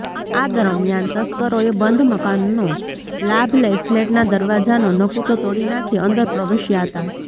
આ દરમિયાન તસ્કરોએ બંધ મકાનનો લાભ લઈ ફ્લેટના દરવાજાનો નકુચો તોડી નાંખી અંદર પ્રવેશ્યા હતા